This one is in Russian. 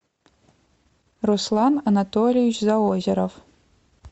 руслан анатольевич заозеров